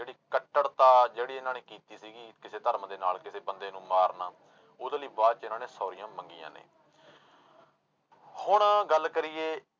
ਕੱਟੜਤਾ ਜਿਹੜੀ ਇਹਨਾਂ ਨੇ ਕੀਤੀ ਸੀਗੀ ਕਿਸੇ ਧਰਮ ਦੇ ਨਾਲ ਕਿਸੇ ਬੰਦੇ ਨੂੰ ਮਾਰਨਾ, ਉਹਦੇ ਲਈ ਬਾਅਦ ਚ ਇਹਨਾਂ ਨੇ ਸੋਰੀਆਂ ਮੰਗੀਆਂ ਨੇ ਹੁਣ ਗੱਲ ਕਰੀਏ